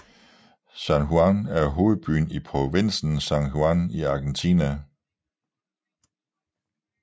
San Juan er hovedbyen i provinsen San Juan i Argentina